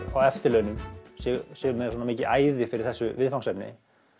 á eftirlaunum sér með svona mikið æði fyrir þessu viðfangsefni